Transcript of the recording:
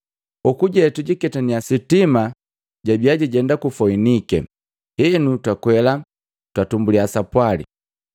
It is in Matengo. Hokuje, tujiketaniya sitima labiya lijenda ku Foinike, henu twakwela, twatumbuliya sapwali.